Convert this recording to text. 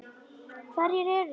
Hverjir eru það?